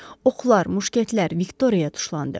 Oxlar, muşkətlər Viktoriyaya tuşlandı.